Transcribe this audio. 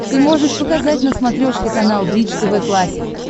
ты можешь показать на смотрешке канал бридж тв классик